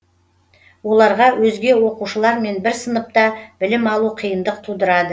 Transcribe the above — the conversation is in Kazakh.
оларға өзге оқушылармен бір сыныпта білім алу қиындық тудырады